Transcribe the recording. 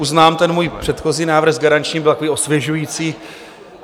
Uznávám, ten můj předchozí návrh s garančním byl takový osvěžující.